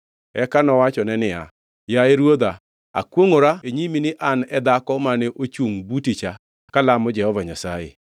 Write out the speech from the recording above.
Eka nowachone niya, “Yaye ruodha, akwongʼora e nyimi ni an e dhako mane ochungʼ buti cha kalamo Jehova Nyasaye.